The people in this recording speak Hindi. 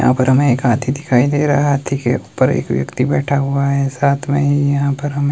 यहां पर हमें एक हाथी दिखाई दे रहा है हाथी के ऊपर एक व्यक्ती बैठा हुआ है साथ में यहां पर हमें --